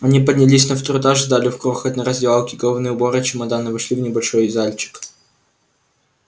они поднялись на второй этаж сдали в крохотной раздевалке головные уборы и чемодан и вошли в небольшой зальчик